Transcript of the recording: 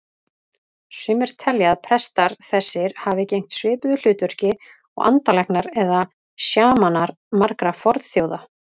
Sumir telja að prestar þessir hafi gegnt svipuðu hlutverki og andalæknar eða sjamanar margra fornþjóða.